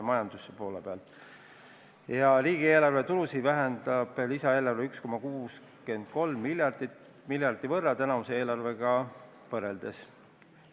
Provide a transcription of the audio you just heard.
Ja riigieelarve tulusid vähendab lisaeelarve 1,63 miljardi võrra tänavuse eelarvega võrreldes.